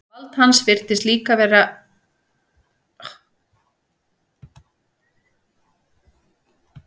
Vald hans virtist líka eins ótakmarkað og áfergja hans til að eyðileggja.